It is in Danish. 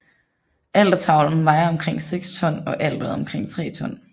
Altertavlen vejer omkring seks ton og alteret omkring tre ton